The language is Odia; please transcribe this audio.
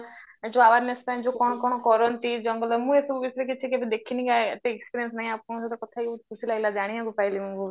ଯୋଉ awareness ପାଇଁ ଯୋଉ କଣ କଣ କରନ୍ତି ଜଙ୍ଗଲରେ ମୁଁ ଆଉ ଏସବୁ ବିଷୟରେ କିଛି କେବେ ଦେଖିନି ଏତେ experience ନାହିଁ ଆପଣଙ୍କ ସହିତ କଥା ହେଇକି ବହୁତ ଖୁସି ଲାଗିଲା ଜାଣିବାକୁ ପାଇଲି ମୁଁ ବହୁତ